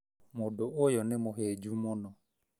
Mũndũ ũyũ nĩ mũhĩnju mũno